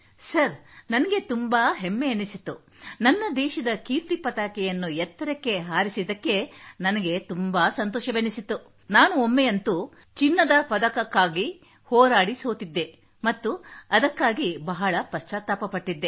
sir ನನಗೆ ತುಂಬಾ ಹೆಮ್ಮೆ ಎನ್ನಿಸಿತ್ತು ನನ್ನ ದೇಶದ ಕೀರ್ತಿ ಪತಾಕೆಯನ್ನು ಎತ್ತರಕ್ಕೆ ಹಾರಿಸಿದ್ದಕ್ಕೆ ನನಗೆ ತುಂಬಾ ಸಂತೋಷವೆನಿಸಿತು ನಾನು ಒಮ್ಮೆಯಂತೂ ಚಿನ್ನದ ಪದಕಕ್ಕಾಗಿ ಹೋರಾಡಿ ಸೋತಿದ್ದೆ ಮತ್ತು ಅದಕ್ಕಾಗಿ ಬಹಳ ಪಶ್ಚಾತ್ತಾಪ ಪಟ್ಟಿದ್ದೆ